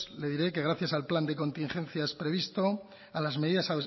le diré que gracias al plan de contingencias previsto a las medidas